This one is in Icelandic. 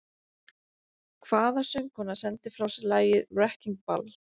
Hvaða söngkona sendi frá sér lagið “Wrecking Ball”?